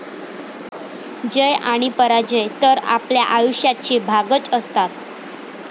जय आणि पराजय तर आपल्या आयुष्याचे भागच असतात.